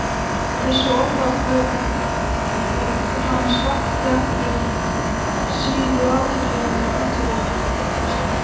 Þessi orðaflaumur hans vakti ekki síður athygli en athugasemdir